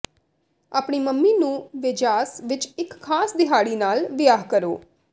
ਆਪਣੀ ਮੰਮੀ ਨੂੰ ਵੇਜਾਸ ਵਿਚ ਇਕ ਖਾਸ ਦਿਹਾੜੀ ਨਾਲ ਵਿਹਾਰ ਕਰੋ